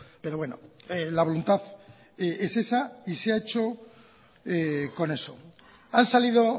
pero bueno la voluntad es esa y se ha hecho con eso han salido